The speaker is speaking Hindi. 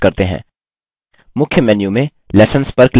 मुख्य मेन्यू में lessons पर क्लिक करें